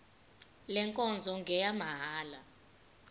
le nkonzo ngeyamahala